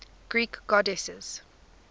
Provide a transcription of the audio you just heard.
greek goddesses